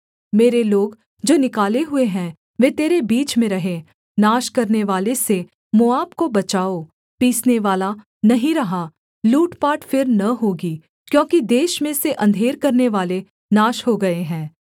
मेरे लोग जो निकाले हुए हैं वे तेरे बीच में रहें नाश करनेवाले से मोआब को बचाओ पीसनेवाला नहीं रहा लूट पाट फिर न होगी क्योंकि देश में से अंधेर करनेवाले नाश हो गए हैं